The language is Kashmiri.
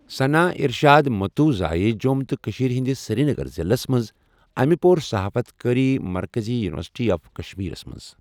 ثَنا اِرشاد مَتوٗ زاے جۆم تہٕ کٔشیٖر ہٕنٛدِس سِریٖنگر ضِلس مَنٛز اَمہِ پۆر صَحافَتکأری مَرکَزی یونِورسِٹی آف کَشمیٖرَس مَنٛز۔